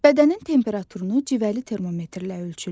Bədənin temperaturunu civəli termometrlə ölçürlər.